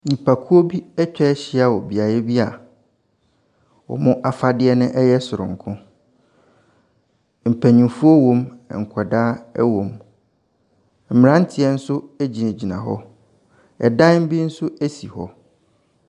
Nnipakuo bi atwa ahyia wɔ beaeɛ bi a wɔn afadeɛ no yɛ soronko. Mpanimfoɔ wom, nkwadaa wom. Mmeranteɛ nso gyinagyina hɔ. Dan bi nso si hɔ.